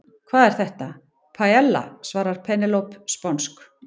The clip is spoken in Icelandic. Hvað er þetta? Paiella, svaraði Penélope sponsk.